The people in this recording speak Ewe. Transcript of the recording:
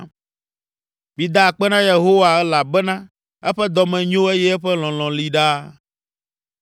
Mida akpe na Yehowa elabena eƒe dɔme nyo Eye eƒe lɔlɔ̃ li ɖaa.